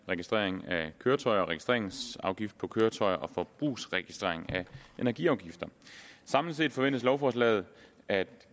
registrering af køretøjer og registreringsafgift på køretøjer og forbrugsregistrering af energiafgifter samlet set forventes lovforslaget at